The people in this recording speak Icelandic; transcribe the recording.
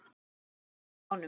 Mæli með honum.